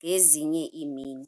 ngezinye iimini.